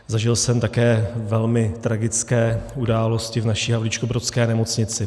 Zažil jsem také velmi tragické události v naší havlíčkobrodské nemocnici.